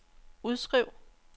udskriv